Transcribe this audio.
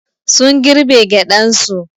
Sun girbe gyaɗan su.